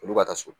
Olu ka taa so